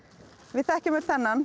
við þekkjum öll þennan